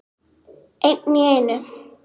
Einn í einu.